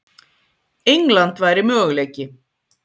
England væri möguleiki.